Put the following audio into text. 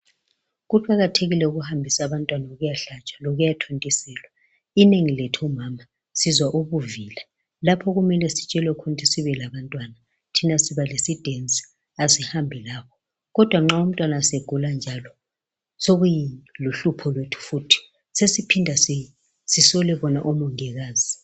Kuqakathekile ukuhambisa abantwana ukuyahlatshwa lokuyathontiselwa. Inengi lethu omama sizwa ubuvila lapho okumele sitshelwe khona ukuthi sibuye labantwana thina siba lesidensi asihambi labo kodwa nxa umntwana segula njalo sokuluhlupho lwethu futhi sesiphinda sisole bona omongikazi.